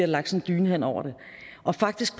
lagt en dyne hen over det og faktisk